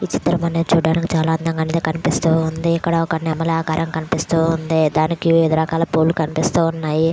ఈ చిత్రం అనేధీ చూడడానికి చాల అందంగా అయతే కనిపిస్తుంది. ఇక్కడ ఒక నెమలి ఆకారం కనిపిస్తూ ఉంది డానికి వీడి రకాల పూలు కనిపిస్తూ ఉన్నాయి.